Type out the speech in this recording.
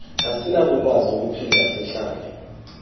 asinakukwazi ukuphinda sihlale